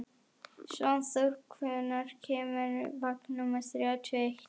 Svanþór, hvenær kemur vagn númer þrjátíu og eitt?